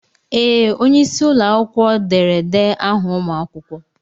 Ee! Onye isi ụlọ akwụkwọ derede aha ụmụ akwụkwọ.